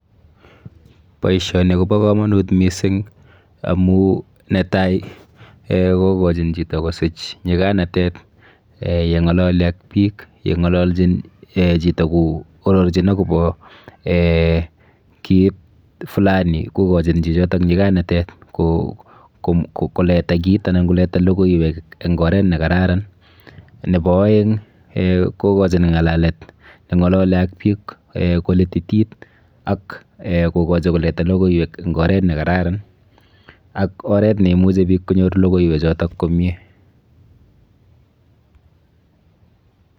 Boisioni kobo komanut mising amu netai kokochin chito kosich nyiklanatet yen'galali ak biik, yeng'alalchin chito koororchin akopo kit flani kokochin chichoto nyikanatet koleta kit anan koleta lokoiwek eng oret nekararan. Nepo aeng kokochin ng'alalet neng'alali ak biikkolititit ak kokochi koleta logoiwek eng oret nekararan ak oret neimuchi biik konyor lokoiwechoto komie.